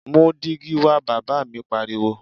Mú dígí wa! Bàbá mi pariwo.